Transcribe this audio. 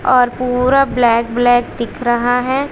और पूरा black black दिख रहा है।